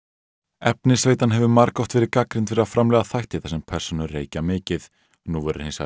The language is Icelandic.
efnisveitan hefur margoft verið gagnrýnd fyrir að framleiða þætti þar sem persónur reykja mikið nú verður hins vegar